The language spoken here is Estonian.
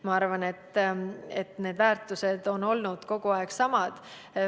Ma arvan, et need väärtused on olnud kogu aeg samad.